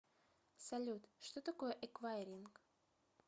салют что такое эквайринг